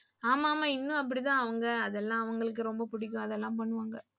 ஆமா ஆமா இன்னும் அப்படிதான் அவங்க அதெல்லாம் அவங்களுக்கு ரொம்ப புடிக்கும். அதெல்லாம் பண்ணுவாங்க.